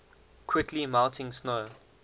quickly melting snow